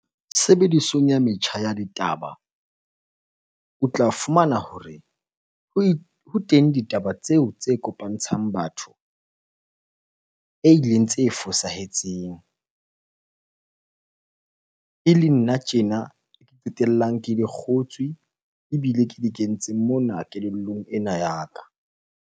Sebedisong ya metjha ya ditaba o tla fumana hore ho ho teng ditaba tseo tse kopantshang batho e ileng tse fosahetseng. E le nna tjena ke qetellang ke di kgotswe ebile ke di kentse mona kelellong ena ya ka.